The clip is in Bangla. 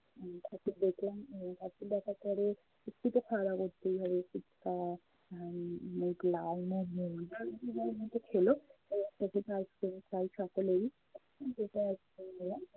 ঠাকুর দেখলাম উম ঠাকুর দেখার পরে একটু তো খাওয়া করতেই হবে। ফুচকা, উম লালমোহন যে যার মতো খেলো। ice-cream খায় সকলেই। ice-cream নিলাম